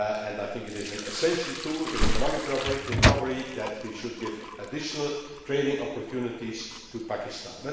jobs. I think it is an essential tool in economic recovery that we should give additional trading opportunities to Pakistan.